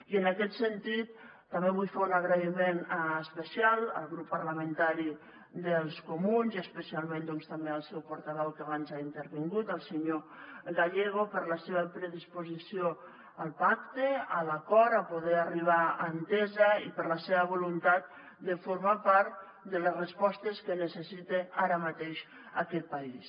i en aquest sentit també vull fer un agraïment especial al grup parlamentari dels comuns i especialment també al seu portaveu que abans ha intervingut el senyor gallego per la seva predisposició al pacte a l’acord a poder arribar a entesa i per la seva voluntat de formar part de les respostes que necessita ara mateix aquest país